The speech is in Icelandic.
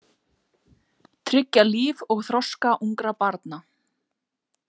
Tryggja líf og þroska ungra barna.